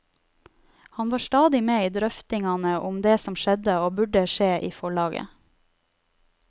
Han var stadig med i drøftingane av det som skjedde og burde skje i forlaget.